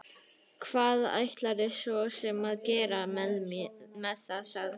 Hvað ætlarðu svo sem að gera með það, sagði hún.